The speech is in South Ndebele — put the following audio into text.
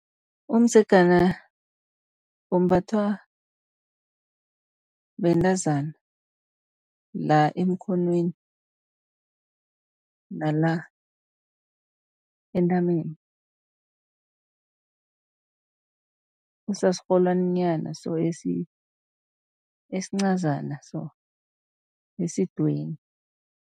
Umdzegana umbathwa bentazana la emkhonweni, nala entameni., usasirholwani nyana so esincazana so esidweni.